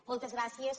moltes gràcies